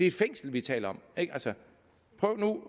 et fængsel vi taler